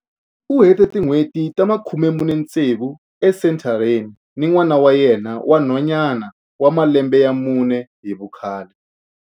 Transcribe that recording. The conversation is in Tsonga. U hete tin'hweti ta 46 esenthareni ni n'wana wa yena wa nhwanyana wa malembe ya mune hi vukhale.